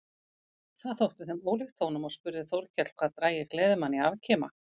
Það þótti þeim ólíkt honum og spurði Þórkell hvað drægi gleðimann í afkima.